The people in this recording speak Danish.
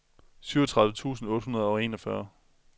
syvogtredive tusind otte hundrede og enogfyrre